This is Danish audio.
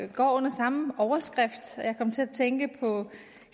går under samme overskrift jeg kom til at tænke på